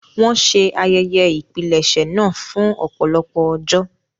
Wọn ṣe ayẹyẹ ìpilẹ̀ṣẹ̀ naa fun ọpọlọpọ ọjọ